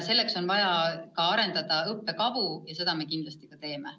Selleks on tarvis ka õppekavu arendada ja seda me kindlasti teeme.